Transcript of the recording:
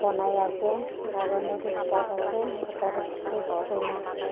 ase aro notice board ase opor dae kurina.